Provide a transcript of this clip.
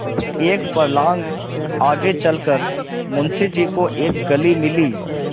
एक फर्लांग आगे चल कर मुंशी जी को एक गली मिली